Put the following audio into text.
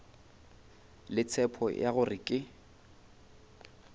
le tshepo ya gore ke